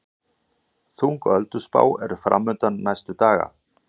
Þung ölduspá er framundan næstu daga